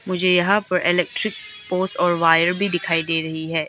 मुझे यहां पर इलेक्ट्रिक पोस और वायर भी दिखायी दे रही है।